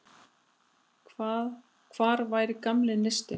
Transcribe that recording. Hvar var gamli neistinn?